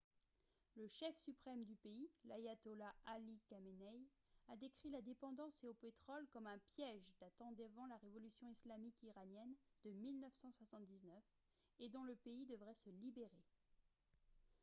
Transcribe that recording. le chef suprême du pays l’ayatollah ali khamenei a décrit la dépendance au pétrole comme un « piège » datant d’avant la révolution islamique iranienne de 1979 et dont le pays devrait se libérer